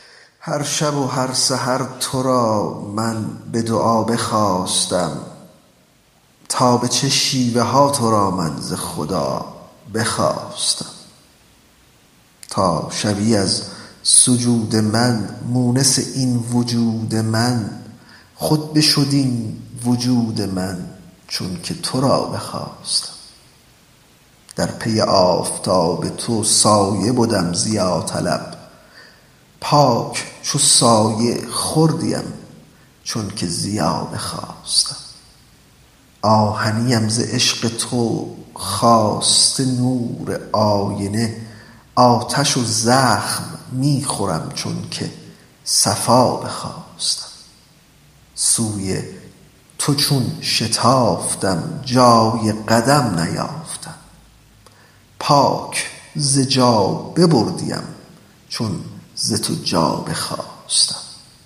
هر شب و هر سحر تو را من به دعا بخواستم تا به چه شیوه ها تو را من ز خدا بخواستم تا شوی از سجود من مونس این وجود من خود بشد این وجود من چون که تو را بخواستم در پی آفتاب تو سایه بدم ضیاطلب پاک چو سایه خوردیم چون که ضیا بخواستم آهنیم ز عشق تو خواسته نور آینه آتش و زخم می خورم چونک صفا بخواستم سوی تو چون شتافتم جای قدم نیافتم پاک ز جا ببردیم چون ز تو جا بخواستم